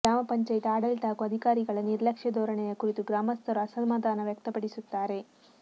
ಗ್ರಾಮ ಪಂಚಾಯಿತಿ ಆಡಳಿತ ಹಾಗೂ ಅಧಿಕಾರಿಗಳ ನಿರ್ಲಕ್ಷ್ಯ ಧೋರಣೆಯ ಕುರಿತು ಗ್ರಾಮಸ್ಥರು ಅಸಮಾಧಾನ ವ್ಯಕ್ತಪಡಿಸುತ್ತಾರೆ